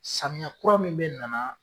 Samiya kura min be nana